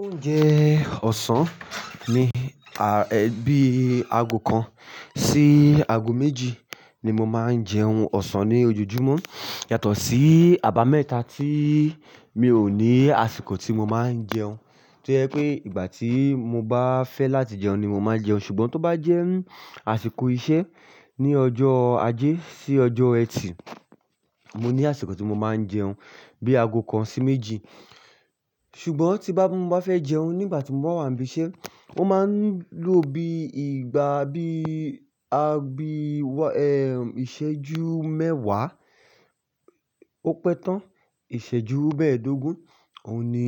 Oúnjẹ ọ̀sán ni, bíi ago kan sí ago méjì ni mo máa ń jẹ oún ọ̀sán ní ojoojúmọ́ yàtọ̀ sí àbámẹ́ta tí mi ò ní àsìkò tí mo máa ń jẹun. Tí o je pé ìgbà tí mo bá fẹ́ láti jẹun ni mo máa jẹun. Ṣùgbọ́n tó bá jẹ́ àsìkò iṣẹ́ ní ọjọ́ ajé sí ọjọ́ ẹtì, mo ní àsìkò tí mo máa ń jẹun bí ago kan sí méjì. Ṣùgbọ́n tí bá, mo bá fẹ́ jẹun nígbà tí mo bá wà níbí iṣẹ́, ó máa ń lù ọ bí ìgbà bíi, bíi, ìṣẹ́jú mẹ́wàá ó pẹ́ tán, ìṣẹ́jú mẹ́ẹ̀ẹ́dógún, òun ni,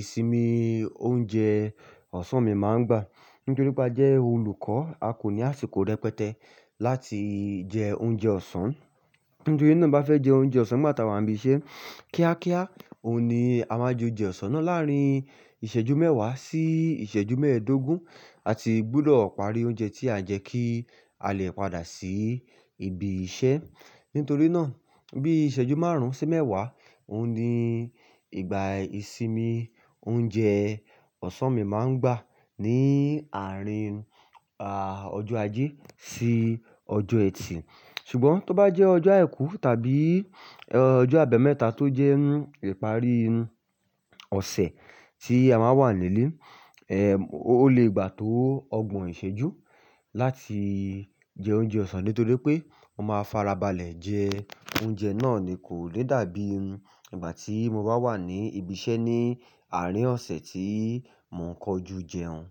ìsinmi oúnjẹ ọ̀sán mi máa ń gbà. Nítorí pé a jẹ́ olùkọ́, a kò ní àsìkò rẹpẹtẹ láti jẹ oúnjẹ ọ̀sán. Nítorí náà bá fẹ́ jẹ oúnjẹ ọ̀sán nígbà tí a wà níbí iṣẹ́ kíákíá, òun ni a máa ju jẹ ọ̀sán náà láàrín ìṣẹ́jú mẹ́wàá sí ìṣẹ́jú mẹ́ẹ̀ẹ́dógún. A ti gbúdọ̀ parí oúnjẹ tí à ń jẹ kí à lè padà sí ibi iṣẹ́. Nítorí náà bí ìṣẹ́jú márùn-ún sí mẹ́wàá, òun ni ìgbà ìsinmi oúnjẹ ọ̀sán mi máa ń gbà ní àárín, à, ọjọ́ ajé sí ọjọ́ ẹtì. Ṣùgbọ́n tó bá jẹ́ ọjọ́ àìkú tàbí, ọjọ́ àbámẹ́ta tó jẹ́ ìparí ọ̀sẹ̀ tí a máa wà nílé, ó lè gbà tó ọgbọ̀n ìṣẹ́jú láti jẹ oúnjẹ ọ̀sán nítorí pé mo máa farabalẹ̀ jẹ oúnjẹ náà ni kò lè dàbí ìgbà tí mo bá wà ní ibi iṣẹ́ ní àárín ọ̀sẹ̀ tí mò ń kọjú jẹun.